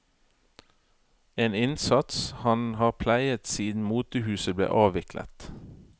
En innsats han har pleiet siden motehuset ble avviklet.